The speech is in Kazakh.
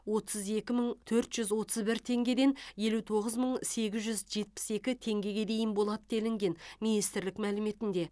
отыз екі мың төрт жүз отыз бір теңгеден елу тоғыз мың сегіз жүз жетпіс екі теңгеге дейін болады делінген министрлік мәліметінде